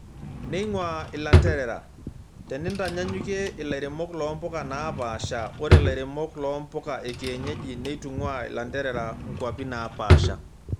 Neeing'wa ilanterera:Tenintanyanyukie ilairemok loo mpuka naapasha, ore ilairemok loo mpuka ekienyeji neitung'waa ilanterera kwapin naapasha.